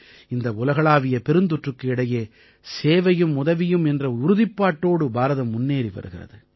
இந்த உலகளாவிய பெருந்தொற்றுக்கு இடையே சேவையும் உதவியும் என்ற உறுதிப்பாட்டோடு பாரதம் முன்னேறி வருகிறது